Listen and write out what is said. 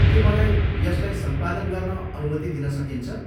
के मलाई यसलाई सम्पादन गर्न अनुमति दिन सकिन्छ?